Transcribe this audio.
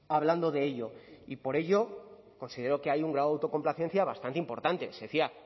hablando de ello y por ello considero que hay un grado de autocomplacencia bastante importante se decía